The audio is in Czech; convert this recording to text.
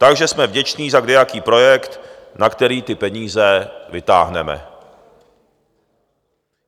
Takže jsme vděční za kdejaký projekt, na který ty peníze vytáhneme.